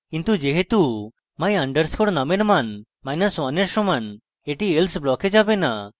কিন্তু যেহেতু my _ num এর মান1 এর সমান এটি else block যাবে না